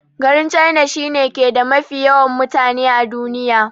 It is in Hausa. Garin china shi ne ke da mafi yawan mutane a duniya.